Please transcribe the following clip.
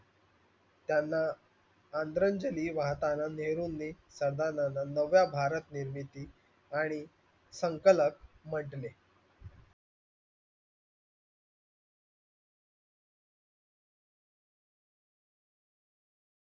त्यांना आदरांजली वाहताना नेहरूंनी सरदारांना नवभारत निर्मिती आणि संकलक म्हंटले.